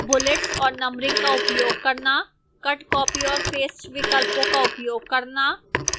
use bullets और numbering का उपयोग करना